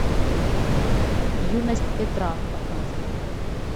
юность петра показывай